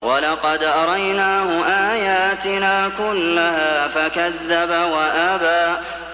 وَلَقَدْ أَرَيْنَاهُ آيَاتِنَا كُلَّهَا فَكَذَّبَ وَأَبَىٰ